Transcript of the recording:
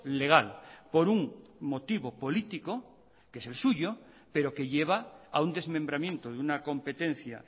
legal por un motivo político que es el suyo pero que lleva a un desmembramiento de una competencia